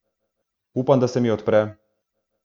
Upam, da se mi odpre.